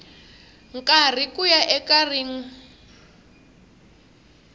karhi ku ya eka rin